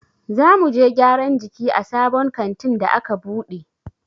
Za muje gyaran jiki a sabon kantin da a ka buɗe.